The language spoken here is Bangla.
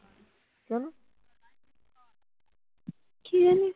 কি জানি